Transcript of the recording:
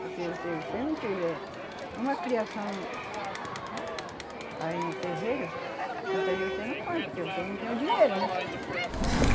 Porque o se você não tiver uma criação aí no terreiro, muitas vezes você não compra, porque você não tem o dinheiro, né? E